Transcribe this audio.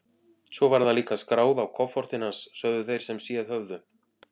Svo var það líka skráð á kofortin hans, sögðu þeir sem séð höfðu.